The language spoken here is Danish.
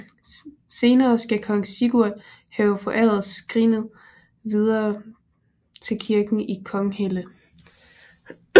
Senere skal kong Sigurd have foræret skrinet videre til kirken i Konghelle